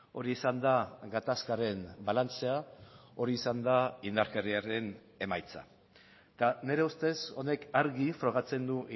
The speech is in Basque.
hori izan da gatazkaren balantzea hori izan da indarkeriaren emaitza eta nire ustez honek argi frogatzen du